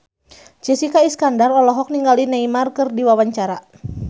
Jessica Iskandar olohok ningali Neymar keur diwawancara